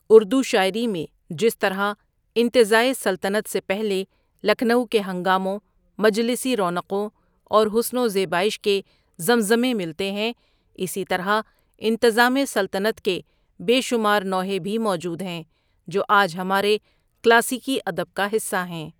اردو شاعری میں جس طرح انتزاعِ سلطنت سے پہلے لکھنؤ کے ہنگاموں، مجلسی رونقوں اور حسن و زیبائش کے زمزمے ملتے ہیں اسی طرح انتظام سلطنت کے بےشمار نوحے بھی موجود ہیں جو آج ہمارے کلاسیکی ادب کا حصہ ہیں.